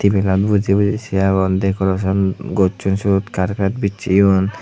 ebenod buji buji sei agon decoration gosson syot carpet bisseyon.